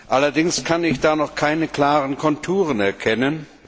Allerdings kann ich da noch keine klaren Konturen erkennen.